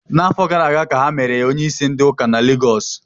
N'afọ gara ka ha mere ya onye isi ndị ụka na Lagos